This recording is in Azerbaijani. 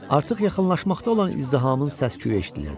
Artıq yaxınlaşmaqda olan izdihamın səs-küyü eşidilirdi.